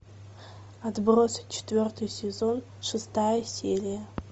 отбросы четвертый сезон шестая серия